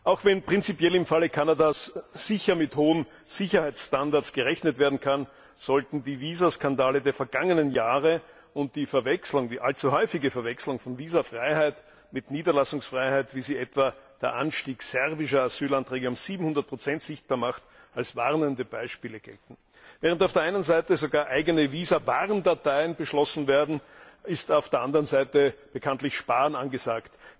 Auch wenn prinzipiell im Falle Kanadas sicher mit hohen Sicherheitsstandards gerechnet werden kann, sollten die Visaskandale der vergangenen Jahre und die allzu häufige Verwechslung von Visafreiheit mit Niederlassungsfreiheit, wie sie etwa der Anstieg serbischer Asylanträge um 700 sichtbar macht, als warnende Beispiele gelten. Während auf der einen Seite sogar eigene Visa Warndateien beschlossen werden, ist auf der anderen Seite bekanntlich Sparen angesagt.